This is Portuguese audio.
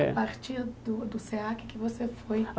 É A partir do do SEACA é que você foi.